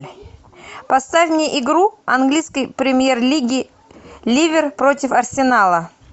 поставь мне игру английской премьер лиги ливер против арсенала